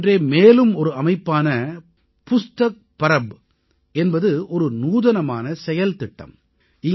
இதைப் போன்றே மேலும் ஒரு அமைப்பான புஸ்தக் பரப் என்பது ஒரு நூதனமான செயல்திட்டம்